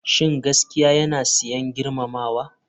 Shin gaskiya yana sayen girmamawa?